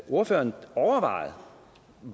ordføreren overvejet